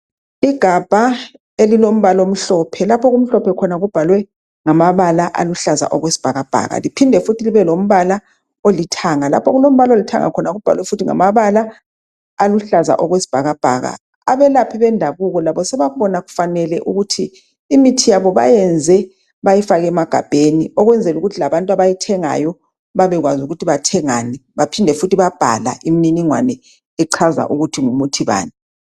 Igabha elilombala omhlophe. Lapho okumhlophe khona kubhalwe ngamabala aluhlaza okwesibhakabhaka. Liphinde fundi libe lombala olithanga. Lapho okulombala olithanga khona kubhalwe futhi ngamabala aluhlaza okwesibhakabhaka, Abelaphi bendakubo labo sebakubona kufanele ukuthi laba imithi yabo bayiyenze bayifake emagabheni ukwenzelukuthi labantu abayithengayo babekwazi ukuthi bathengani baphinde futhi babhala imililingwane echaza ukuthi ngumuthi bani.